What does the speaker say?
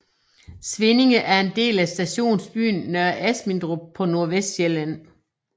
Svinninge er en del af stationsbyen Nørre Asmindrup på Nordvestsjælland